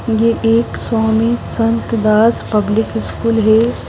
यह एक Swami Sant Das public school है .